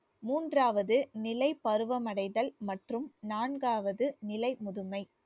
மூன்றாவது நிலை பருவம் அடைதல் மற்றும் நான்காவது நிலை முதுமை